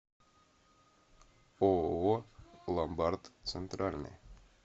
ооо ломбард центральный